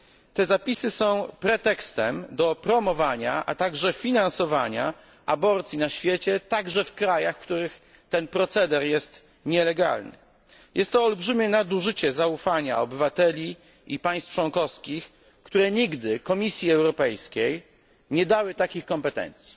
Te zapisy są pretekstem do promowania i finansowania aborcji na świecie, także w krajach, w których ten proceder jest nielegalny. Jest to olbrzymie nadużycie zaufania obywateli i państw członkowskich, które nigdy Komisji Europejskiej nie dały takich kompetencji.